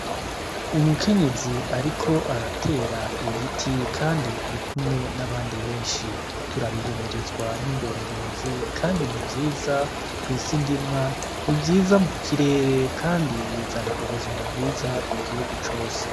Umukenyezi ariko atatera igiti kandi arikumwe n'abandi benshi. Turabihimirizwa n'indongozi kandi ni vyiza kw'isi ndimwa, ni vyiza ku kirere kandi bizana ubuzima bwiza ku gihugu cose.